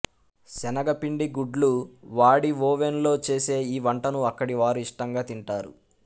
శనగపిండి గుడ్లు వాడి ఒవెన్ లో చేసే ఈ వంటను అక్కడి వారు ఇష్టంగా తింటారు